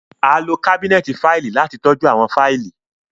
A lo kabinẹti faili lati tọju awọn faili